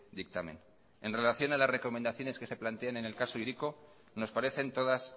dictamen en relación a la recomendaciones que se plantean en el caso hiriko nos parecen todas